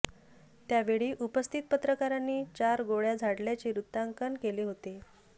त्या वेळी उपस्थित पत्रकारांनी चार गोळ्या झाडल्याचे वृत्तांकन केले होते